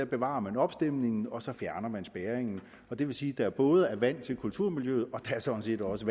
bevarer opstemningen og så fjerner man spærringen og det vil sige at der både er vand til kulturmiljøet og sådan set også